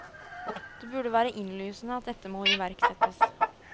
Det burde være innlysende at dette må iverksettes.